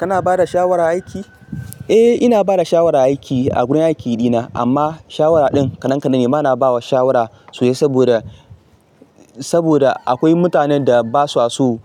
Kana bada shawara aiki? Eh ina bada shawara aiki a gurin aiki dina amma shawara ɗin kaɗan kaɗanne. Bana bawa shawara sosai saboda, saboda akwai mutanen da basu so